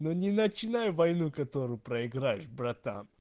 ну не начинай войну которую проиграешь братан